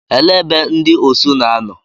Ele ebe ndị Osu na-anọ?